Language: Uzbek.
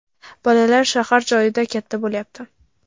Bolalar shahar joyda katta bo‘lyapti.